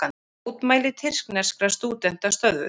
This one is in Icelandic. Mótmæli tyrkneska stúdenta stöðvuð